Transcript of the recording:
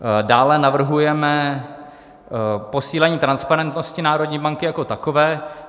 Dále navrhujeme posílení transparentnosti národní banky jako takové.